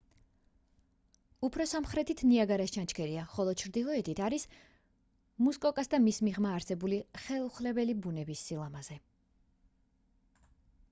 უფრო სამხრეთით ნიაგარას ჩანჩქერია ხოლო ჩრდილოეთით არის მუსკოკას და მის მიღმა არსებული ხელუხლებელი ბუნების სილამაზე